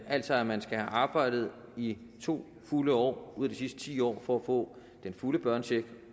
altså at man skal have arbejdet i to fulde år ud af de sidste ti år for at få den fulde børnecheck